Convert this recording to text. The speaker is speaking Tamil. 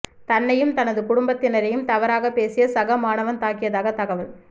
தன்னையும் தனது குடும்பத்தினரையும் தவறாகப் பேசிய சக மாணவன் தாக்கியதாக தகவல்